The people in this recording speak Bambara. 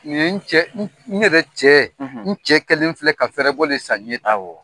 Nin n cɛ n yɛrɛ cɛɛ n cɛ kelen filɛ ka fɛrɛɛbɔ de san ɲɛ tan awa